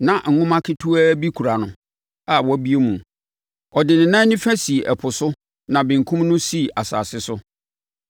Na nwoma ketewaa bi kura no a wabue mu. Ɔde ne nan nifa sii ɛpo so na benkum no si asase so.